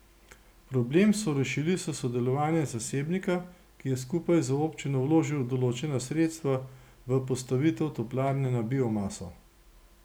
Problem so rešili s sodelovanjem zasebnika, ki je skupaj z občino vložil določena sredstva v postavitev toplarne na biomaso.